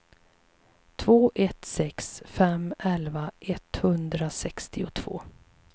två ett sex fem elva etthundrasextiotvå